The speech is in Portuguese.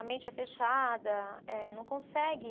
A mente é fechada, eh não consegue